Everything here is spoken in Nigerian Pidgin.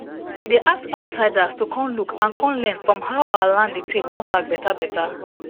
we dey ask outsiders to com look and con learn from how our land dey tak com back beta beta